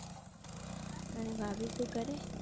અને ભાભી શું કરે?